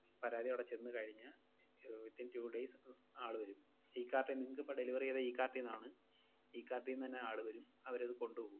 പരാതി അവടെ ചെന്നു കഴിഞ്ഞാ ഏർ within two days ആള് വെരും. ഇ-കാർട്ടീന്ന്, നിങ്ങക്കിപ്പം delivery ചെയ്ത ഇ-കാർട്ടീന്നാണ്. ഇ-കാർട്ടീന്നന്നെ ആള് വരും. അവരത് കൊണ്ടുപോവും.